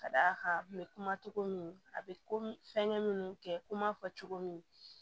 Ka d'a kan n bɛ kuma cogo min a bɛ komi fɛn minnu kɛ kuma fɔ cogo min